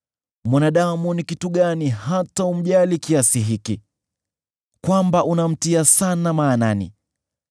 “Mwanadamu ni kitu gani hata umjali kiasi hiki, kwamba unamtia sana maanani,